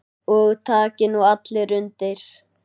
Og taki nú allir undir.